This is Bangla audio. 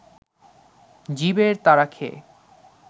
জীবের তাড়া খেয়ে